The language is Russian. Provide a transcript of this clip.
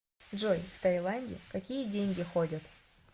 джой в таиланде какие деньги ходят